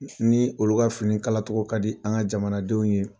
Ni olu ka fini kala cogɔ ka di an ka jamanadenw ye